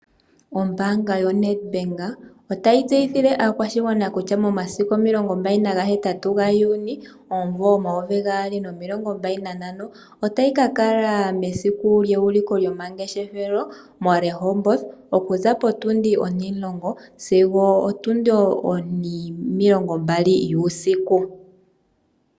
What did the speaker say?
Ombanga yo NedBank otayi tseyithile aakwashigwana kutya momasiku 28 juni 2025, otayi ka kala mesiku lyeuliko lyomangeshefelo mo Rehoboth, okuza potundi 10h00-20h00 yuusiku.